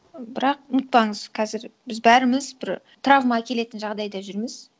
бірақ ұмытпаңыз қазір біз бәріміз бір травма әкелетін жағдайда жүрміз